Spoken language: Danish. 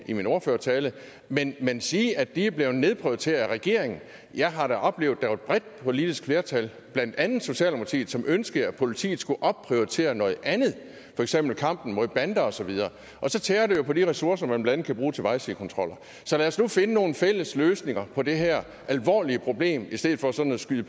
i min ordførertale men man sige at de er blevet nedprioriteret af regeringen jeg har da oplevet at der var et bredt politisk flertal blandt andet socialdemokratiet som ønskede at politiet skulle opprioritere noget andet for eksempel kampen mod bander og så videre så tærer det jo på de ressourcer man blandt andet kan bruge til vejsidekontroller så lad os nu finde nogle fælles løsninger på det her alvorlige problem i stedet for sådan at sige